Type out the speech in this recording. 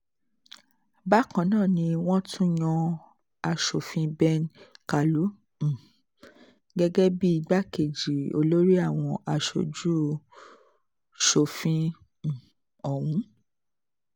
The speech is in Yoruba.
bákan náà ni wọ́n tún yan aṣòfin ben kàlú um gẹ́gẹ́ bíi igbákejì olórí àwọn aṣojú-ṣòfin um ọ̀hún